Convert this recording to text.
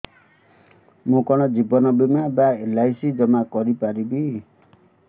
ମୁ କଣ ଜୀବନ ବୀମା ବା ଏଲ୍.ଆଇ.ସି ଜମା କରି ପାରିବି